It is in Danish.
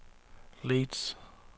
Leeds